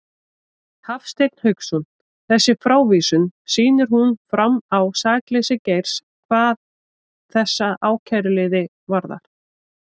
Hafstein Hauksson: Þessi frávísun, sýnir hún fram á sakleysi Geirs hvað þessa ákæruliði varðar?